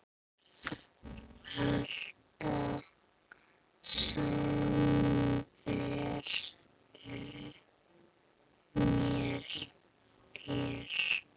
Alla samveru með þér.